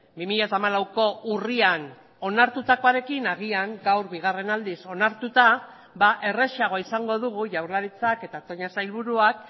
bi mila hamalauko urrian onartutakoarekin agian gaur bigarren aldiz onartuta errazago izango dugu jaurlaritzak eta toña sailburuak